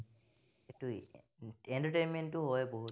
সেইটোৱেই, entertainment ও হয় বহুত।